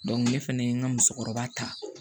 ne fɛnɛ ye n ka musokɔrɔba ta